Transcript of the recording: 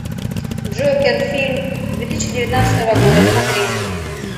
джокер фильм две тысячи девятнадцатого года смотреть